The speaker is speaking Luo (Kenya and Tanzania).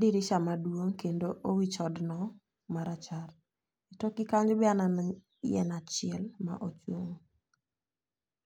dirisa maduong' kendo owich odno marachar. E tokgi kanyo aneno yien achiel ma